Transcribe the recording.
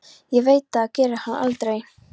Ég veit að það gerir hann aldrei.